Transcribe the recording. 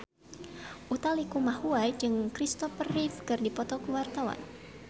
Utha Likumahua jeung Christopher Reeve keur dipoto ku wartawan